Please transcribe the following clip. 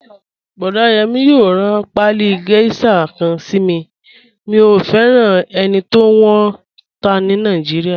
Boda Yemi yòò ran paálí geisha kan sí mí, mí o fẹran ènì tí wọn n tá ní Naijíríà.